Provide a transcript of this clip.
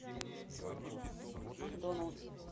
макдоналдс